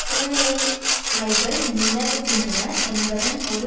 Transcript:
சூழ்நிலைமைகள் நிலவுகின்றன என்பதன் ஒரு